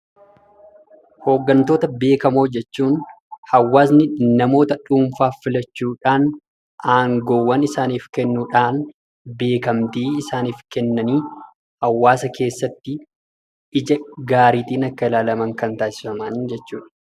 Hooggantoota beekamoo jechuun hawaasni namoota dhuunfaa filachuudhaan, aangoowwan isaanif kennuudhaan, beekamtii isaanif kennanii hawaasa keessatti ija gaariitiin akka ilaalaman kan taasifaman jechuudha.